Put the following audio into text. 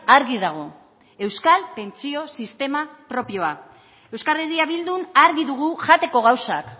argi dago euskal pentsio sistema propioa euskal herria bildun argi dugu jateko gauzak